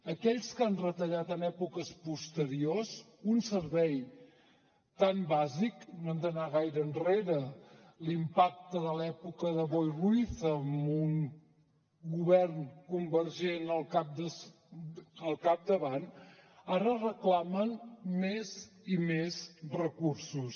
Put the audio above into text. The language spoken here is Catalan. aquells que han retallat en èpoques posteriors un servei tan bàsic no hem d’anar gaire enrere l’impacte de l’època de boi ruiz amb un govern convergent al capdavant ara reclamen més i més recursos